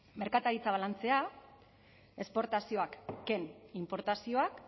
merkataritza balantzea esportazioak ken inportazioak